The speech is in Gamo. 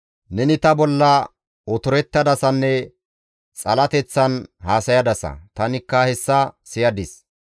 Neni ta bolla otorettadasanne xalateththan haasayadasa; tanikka hessa siyadis.